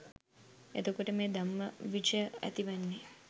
එතකොට මේ ධම්මවිචය ඇතිවෙන්නේ